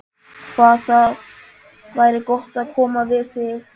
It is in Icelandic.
Hvað það væri gott að koma við þig.